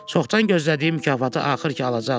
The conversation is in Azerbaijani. Çoxdan gözlədiyi mükafatı axır ki alacaqdı.